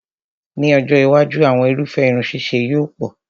Ní ọjọ́ iwájú, àwọn irúfẹ́ irun ṣíṣe yóò pọ̀